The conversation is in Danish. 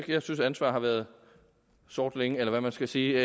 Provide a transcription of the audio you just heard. jeg synes ansvar har været sort længe eller hvad man skal sige